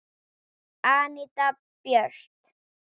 Anita Björt.